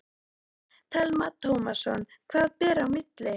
Telma Tómasson: Hvað ber í milli?